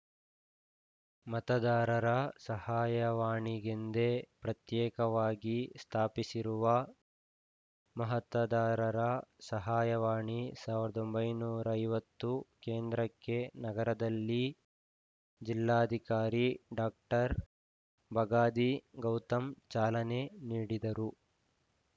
ಮತದಾರರ ಸಹಾಯವಾಣಿಗೆಂದೇ ಪ್ರತ್ಯೇಕವಾಗಿ ಸ್ಥಾಪಿಸಿರುವ ಮತದಾರರ ಸಹಾಯವಾಣಿ ಸಾವಿರದ ಒಂಬೈನೂರ ಐವತ್ತು ಕೇಂದ್ರಕ್ಕೆ ನಗರದಲ್ಲಿ ಜಿಲ್ಲಾಧಿಕಾರಿ ಡಾಕ್ಟರ್ ಬಗಾದಿ ಗೌತಮ್‌ ಚಾಲನೆ ನೀಡಿದರು